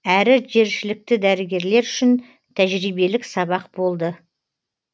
әрі жершілікті дәрігерлер үшін тәжірибелік сабақ болды